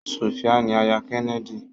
Sofia ni àyà Kennedy.